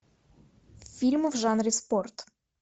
фильмы в жанре спорт